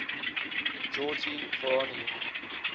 georgy voronoy